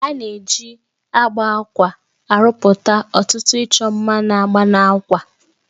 A na-ejikwa agba àkwá arụpụta ọtụtụ ịchọ mma na agba n'àkwá